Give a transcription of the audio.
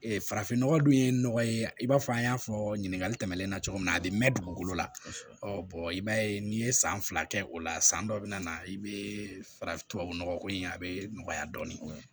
Ee farafin nɔgɔ dun ye nɔgɔ ye i b'a fɔ an y'a fɔ ɲininkali tɛmɛnen na cogo min na a bi mɛn dugukolo la i b'a ye n'i ye san fila kɛ o la san dɔ be na i bee fara tubabunɔgɔko in a bɛ nɔgɔya dɔɔnin